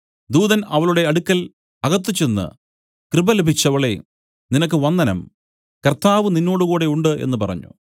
ദൂതൻ അവളുടെ അടുക്കൽ അകത്ത് ചെന്ന് കൃപ ലഭിച്ചവളേ നിനക്ക് വന്ദനം കർത്താവ് നിന്നോടുകൂടെ ഉണ്ട് എന്നു പറഞ്ഞു